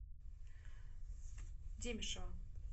демешева